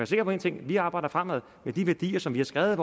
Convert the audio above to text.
sikker på én ting vi arbejder fremad med de værdier som vi har skrevet